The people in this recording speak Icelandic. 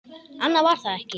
Annað var það ekki.